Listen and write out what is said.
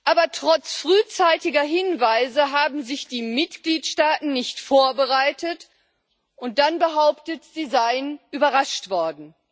Aber trotz frühzeitiger Hinweise haben sich die Mitgliedstaaten nicht vorbereitet und dann behauptet, sie seien überrascht worden.